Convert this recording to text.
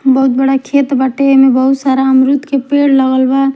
बहुत बड़ा खेत बाटे एह में अमरूद के पेड़ लगल बा--